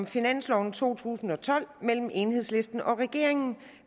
finansloven to tusind og tolv mellem enhedslisten og regeringen